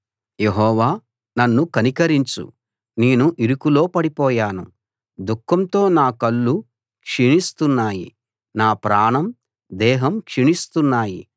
యెహోవా నన్ను కనికరించు నేను ఇరుకులో పడిపోయాను దుఃఖంతో నా కళ్ళు క్షీణిస్తున్నాయి నా ప్రాణం దేహం క్షీణిస్తున్నాయి